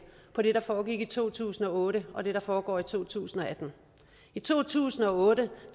på det der foregik i to tusind og otte og det der foregår i to tusind og atten i to tusind og otte